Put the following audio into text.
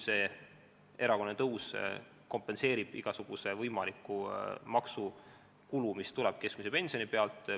See erakorraline tõus kompenseerib igasuguse võimaliku maksukulu, mis tuleb keskmise pensioni pealt.